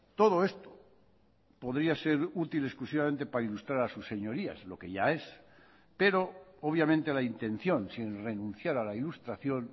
todo esto podría ser útil exclusivamente para ilustrar a sus señorías lo que ya es pero obviamente la intención sin renunciar a la ilustración